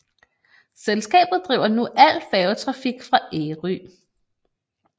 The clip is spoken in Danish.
Selskabet driver nu al færgetrafik fra Ærø